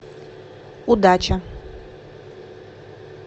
удача